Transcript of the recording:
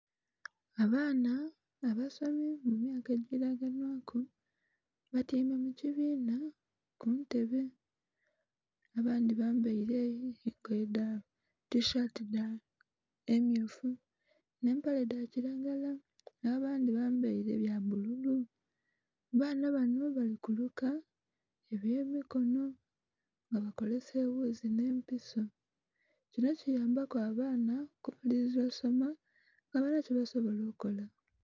Abaana abasomi mumyaka egiraganhwaku batyeime mukibinha kuntebe, abandhi bambeire engoye dha tishati dha emmyufu nh'empale dhakiragala nh'abandhi bambeire byabbulu. Baana bano balikuluka ebyemikono nga bakolesa eghuzi nh'empiso, kino kiyambaku abaana okumaliriza osoma nga balina kyebasola okola.